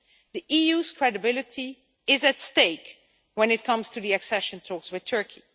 The EU's credibility is at stake when it comes to the accession talks with Turkey.